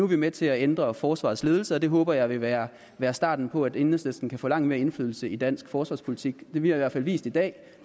vi med til at ændre forsvarets ledelse og det håber jeg vil være være starten på at enhedslisten kan få langt mere indflydelse på dansk forsvarspolitik vi har i hvert fald vist i dag